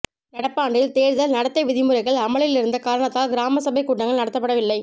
நடப்பாண்டில் தேர்தல் நடத்தை விதி முறைகள் அமலில் இருந்த காரணத்தால் கிராம சபை கூட்டங்கள் நடத்தப்படவில்லை